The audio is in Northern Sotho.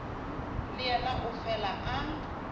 le yena o fele a